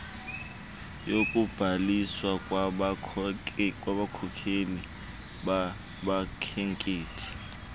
yokubhaliswa kwabakhokeli babakhenketh